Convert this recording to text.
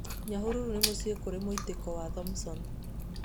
Nyahururu nĩ mũciĩ kũrĩ mũitĩko wa Thomson.